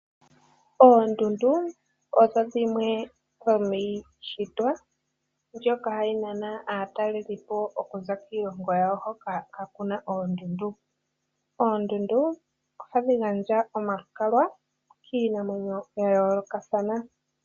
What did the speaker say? Oondunduu odho dhimwe dhomiishitwa mbyoka hayi nana aatalelipo okuza kiilongo yawo hoka kaakuna oondundu. Oondundu oha dhi gandja omalukalwa kiinamwenyo ya yoolokathana.